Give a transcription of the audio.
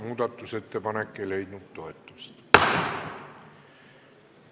Muudatusettepanek ei leidnud toetust.